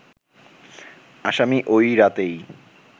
আসামি ওই রাতেই